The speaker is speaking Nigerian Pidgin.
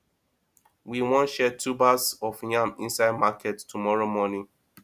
we wan share tubers of yam inside market tomorrow morning